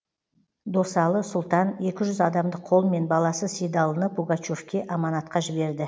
досалы сұлтан екі жүз адамдық қолмен баласы сейдалыны пугачевке аманатқа жіберді